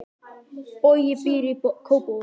Bogi býr í Kópavogi.